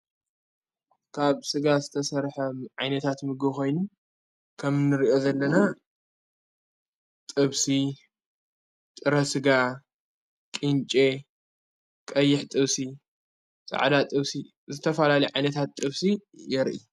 ካብ ሥጋ ዝተሠርሐ ዓይነታት ምግኾይኑ ከም ንርእአ ዘለና ጥብሢ ጥረ ሥጋ ቂንቄ ቀይሕ ጥውሲ ፃዕዳ ጥውሢ ዘተፋላሊ ዓይነታት ጥፍሲ የርኢ።